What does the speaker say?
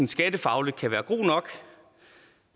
skattefagligt kan være god nok